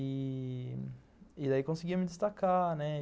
E daí conseguia me destacar, né?